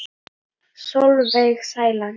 Sólveig Sæland.